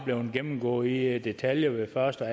blevet gennemgået i detaljer ved første og